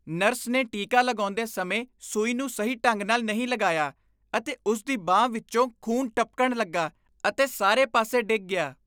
Nurse ਨੇ ਟੀਕਾ ਲਗਾਉਂਦੇ ਸਮੇਂ ਸੂਈ ਨੂੰ ਸਹੀ ਢੰਗ ਨਾਲ ਨਹੀਂ ਲਗਾਇਆ ਅਤੇ ਉਸ ਦੀ ਬਾਂਹ ਵਿੱਚੋਂ ਖੂਨ ਟਪਕਣ ਲੱਗਾ ਅਤੇ ਸਾਰੇ ਪਾਸੇ ਡਿੱਗ ਗਿਆ।